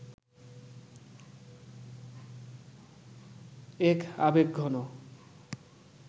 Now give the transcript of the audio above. এক আবেগঘন